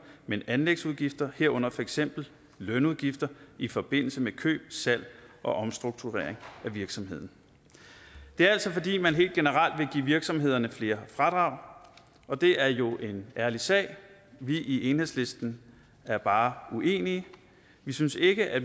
men anlægsudgifter herunder for eksempel lønudgifter i forbindelse med køb salg og omstrukturering af virksomheden det er altså fordi man helt generelt vil give virksomhederne flere fradrag og det er jo en ærlig sag vi i enhedslisten er bare uenige vi synes ikke at